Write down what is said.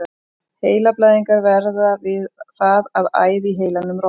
Heilablæðingar verða við það að æð í heilanum rofnar.